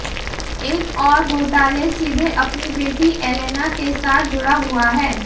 एक और घोटाले सीधे अपनी बेटी ऐलेना के साथ जुड़ा हुआ है